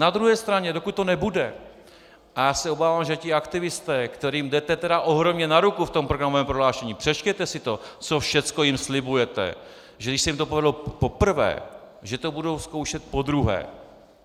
Na druhé straně, pokud to nebude, a já se obávám, že ti aktivisté, kterým jdete tedy ohromně na ruku v tom programovém prohlášení, přečtěte si to, co všecko jim slibujete, že když se jim to povedlo poprvé, že to budou zkoušet podruhé.